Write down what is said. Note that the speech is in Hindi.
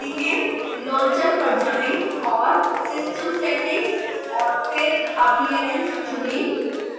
launcher पर जाएं और system settings और फिर appearance चुनें